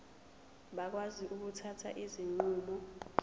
bakwazi ukuthatha izinqumo